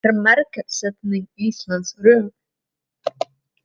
Er markaðssetning Íslands röng